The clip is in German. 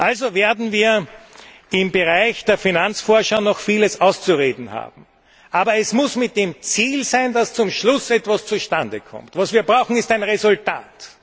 Also werden wir im Bereich der Finanzvorschau noch vieles auszudiskutieren haben, aber es muss mit dem Ziel sein, dass zum Schluss etwas zustande kommt. Was wir brauchen, ist ein Resultat.